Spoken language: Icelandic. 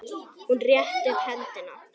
Hún rétti upp hendur.